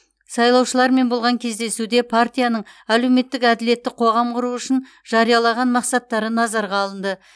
сайлаушылармен болған кездесуде партияның әлеуметтік әділетті қоғам құру үшін жариялаған мақсаттары назарға алынды